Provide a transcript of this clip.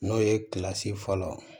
N'o ye kilasi fɔlɔ